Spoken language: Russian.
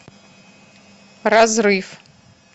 разрыв